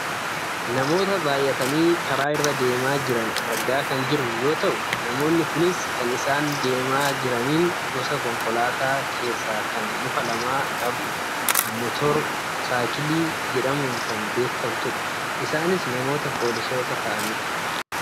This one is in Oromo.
namoota baayyatanii karaa irra deemaa jiran argaa kan jirru yoo ta'u namoonni kunis kan isaan deemaa jiraniin gosa konkolaataa keessaa kan luka lama qabdu motora jedhamuun kan beekkamtudha. isaanis namoota poolisoota ta'anidha.